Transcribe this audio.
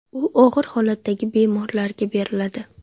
U og‘ir holatdagi bemorlarga beriladi.